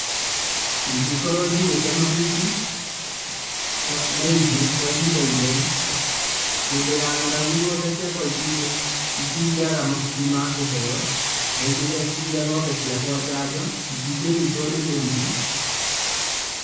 Ingĩkorwo njigĩte mahuti maingĩ kwa ihinda inene, hĩndĩ ya ng'aragu ng'ombe ciakwa itingĩ, itingĩaga mahuti makũheo na ingethecithia ng'ombe ciakwa njanjo itingĩ nyitwo nĩ mĩrimũ.